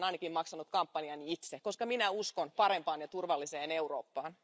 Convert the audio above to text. Minä olen ainakin maksanut kampanjani itse, koska minä uskon parempaan ja turvalliseen Eurooppaan.